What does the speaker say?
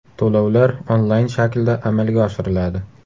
To‘lovlar onlayn shaklda amalga oshiriladi.